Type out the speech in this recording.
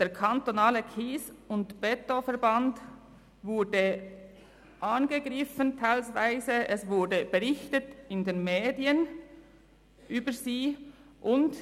Der KSE Bern wurde teilweise angegriffen, es wurde teilweise über diesen in den Medien berichtet.